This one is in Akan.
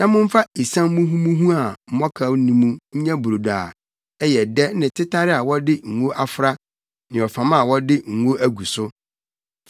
Na momfa esiam muhumuhu a mmɔkaw nni mu nyɛ brodo a ɛyɛ dɛ ne tetare a wɔde ngo afra ne ɔfam a wɔde ngo agu so.